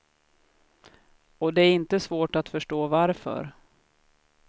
Och det är inte svårt att förstå varför.